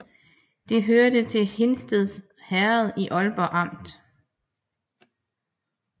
Det hørte til Hindsted Herred i Ålborg Amt